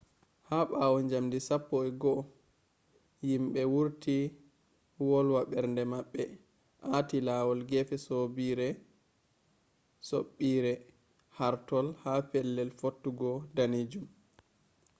ha ɓawo njamdi 11:00 yimɓe wurti wolwa ɓernde maɓɓe aati lawol gefe soɓɓiire hortol ha pellel fottugo danejum